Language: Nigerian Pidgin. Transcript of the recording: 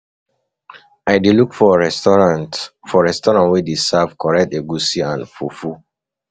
I dey look for restaurant for resturant wey dey serve correct egusi soup and fufu.